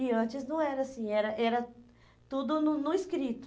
E antes não era assim, era era tudo no no escrito.